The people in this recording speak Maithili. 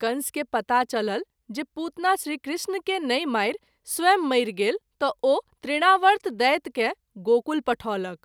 कंस के पता चलल जे पुतना श्री कृष्ण के नहिं मारि स्वयं मरि गेल त’ ओ तृणावर्त दैत्य के गोकुल पठौलक।